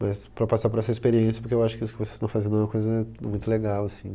Mas para passar por essa experiência, porque eu acho que o que vocês estão fazendo é uma coisa muito legal, assim.